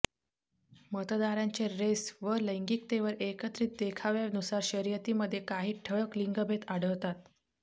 मतदारांच्या रेस व लैंगिकतेवर एकत्रित देखाव्यानुसार शर्यतीमध्ये काही ठळक लिंगभेद आढळतात